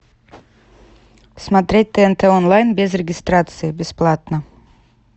смотреть тнт онлайн без регистрации бесплатно